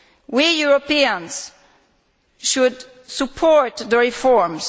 We Europeans should support the reforms.